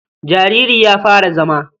Jariri ya fara zama.